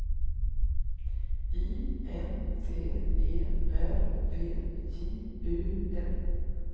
I N T E R V J U N